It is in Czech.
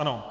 Ano.